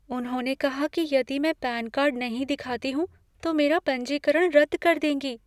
उन्होंने कहा कि यदि मैं पैन कार्ड नहीं दिखाती हूँ तो मेरा पंजीकरण रद्द कर देंगी।